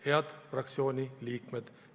Head fraktsiooni liikmed!